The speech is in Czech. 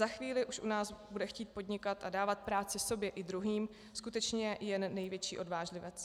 Za chvíli už u nás bude chtít podnikat a dávat práci sobě i druhým skutečně jen největší odvážlivec.